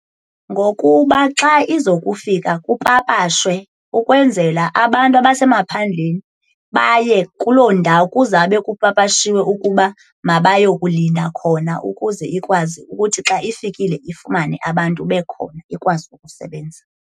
Ngokuba xa iza kufika kupapashwe ukwenzela abantu abasemaphandleni baye kuloo ndawo kuzawube kupapashiwe ukuba mabaye kulinda khona ukuze ikwazi ukuthi xa ifikile ifumane abantu bekhona ikwazi ukusebenza.